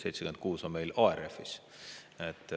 76 on meil ARF-is.